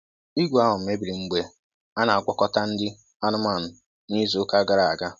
Igwe ahụ mebiri mgbe a na-agwakọta nri anụmanụ n'izu ụka gara aga.